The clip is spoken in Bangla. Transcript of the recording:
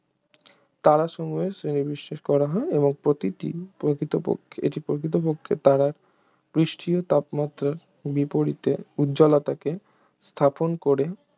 তারাসমূহের শ্রেণীবিন্যাস করা হয় এবং প্রতিটি প্রকৃতপক্ষে এটি প্রকৃতপক্ষে তারার পৃষ্ঠীয় তাপমাত্রার বিপরীতে উজ্জ্বলতাকে স্থাপন করে